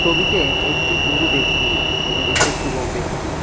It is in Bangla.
ছবিতে একটু বুড়ো ব্যক্তি এবং একটু যুবক ব্যক্তি--